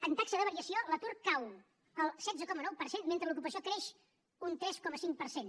en taxa de variació l’atur cau al setze coma nou per cent mentre l’ocupació creix un tres coma cinc per cent